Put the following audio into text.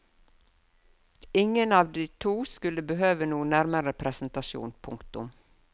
Ingen av de to skulle behøve noen nærmere presentasjon. punktum